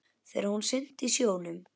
Þegar hún synti í sjónum.